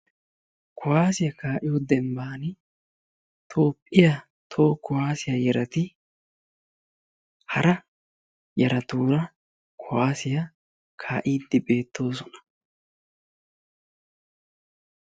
Kuwaasiya kaa'iyo dembbani Toophphiya toho kuwaasiya yarati hara yaratuura kuwaasiya kaa'iddi beettoosona.